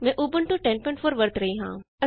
ਮੈਂ ਉਬੰਟੂ 1004 ਦੀ ਵਰਤੋਂ ਕਰ ਰਹੀ ਹਾਂ